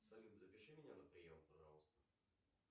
салют запиши меня на прием пожалуйста